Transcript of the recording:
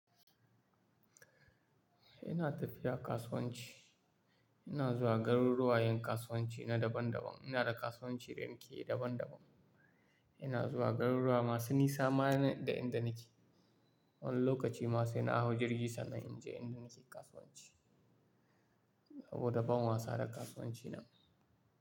Ina tafiya kasuwanci, ina zuwa garuruwa yin kasuwanci na daban-daban. Ina da kasuwanci da nake yi daban-daban. Ina zuwa garuruwa masu nisa ma da inda nake. Wani lokaci ma sai na hau jirgi sannan in je inda nake kasuwanci. Saboda ban wasa da kasuwancin nan.